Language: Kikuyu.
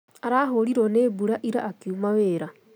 Arahũrirwo nĩ mbura ira akiuma wĩra